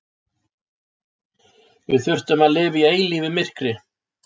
Við þurfum að lifa í eilífu myrkri.